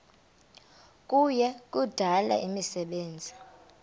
kuya kudala imisebenzi